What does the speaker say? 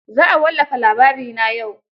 Za a wallafa labarina yau.